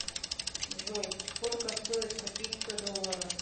джой сколько стоит купить сто долларов